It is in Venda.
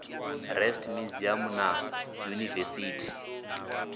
s rest museum na yunivesithi